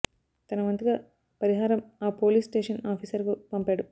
తన వంతుగా పరిహారం ఆ పోలీస్ స్టేషన్ ఆఫీసర్ కు పంపాడు